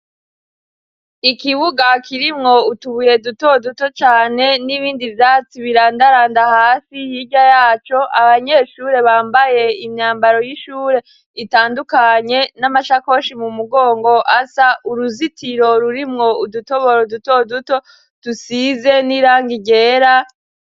Ikibuga kirimwo utubuye dutoduto cane n'ibindi vyatsi birandaranda hasi hirya yaco abanyeshure bambaye imyambaro y'ishure itandukanye n'amashakoshi m'umugongo asa, uruzitiro rurimwo udutoboro dutoduto dusize n'irangi ryera.